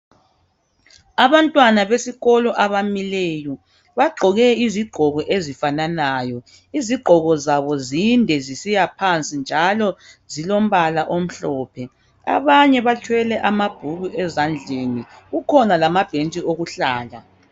Abantwana besikolo abamileyo .Bagqoke izigqoko ezi fananayo .Izigqoko zabo zinde zisiya phansi .Njalo zilombala omhlophe .Abanye bathwele amabhuku ezandleni . Kukhona lamabhentshi okuhlala .